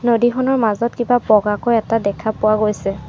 নদীখনৰ মাজত কিবা বগাকৈ এটা দেখা পোৱা গৈছে।